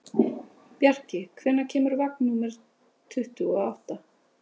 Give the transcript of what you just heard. Bjarki, hvenær kemur vagn númer tuttugu og átta?